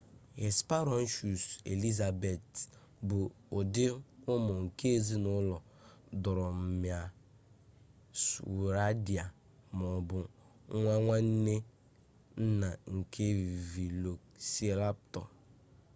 hesperonychus elizabethae bụ ụdị ụmụ nke ezinụlọ dromaeosauridae ma ọ bụ nwa nwanne nna nke velociraptor